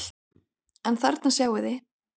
En þarna sjáið þið!